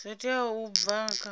zwo teaho u bva kha